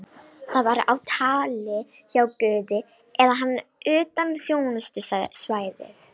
Það var á tali hjá guði eða hann utan þjónustusvæðis.